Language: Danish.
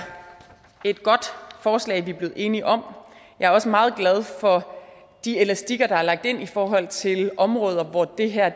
et godt forslag vi er blevet enige om jeg er også meget glad for de elastikker der er lagt ind i forhold til områder hvor det her